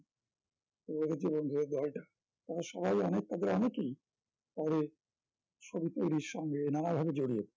ওই ভাবে জীবন গড়ে দেওয়াটা তবে সবাই অনেক ওদের অনেকেই পরে ছবি তৈরির সঙ্গে নানাভাবে জড়িয়ে